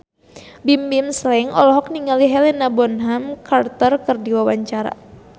Bimbim Slank olohok ningali Helena Bonham Carter keur diwawancara